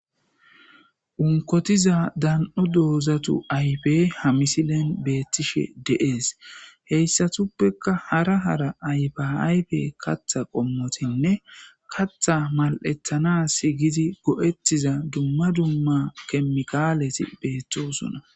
Unkotiza dan7o doozatu aybe hamisilen beettishe deees heyssatuppekka hara hara aybe aybe katha qommotinne katha mal7ethana h gizi go7ettiza dumma dumma kemikalesi beettosuna.